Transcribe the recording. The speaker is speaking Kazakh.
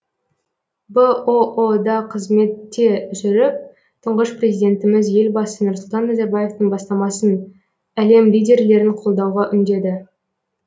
бұұ да қызметте жүріп тұңғыш президентіміз елбасы нұрсұлтан назарбаевтың бастамасын әлем лидерлерін қолдауға үндеді